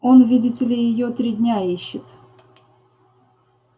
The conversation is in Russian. он видите ли её три дня ищет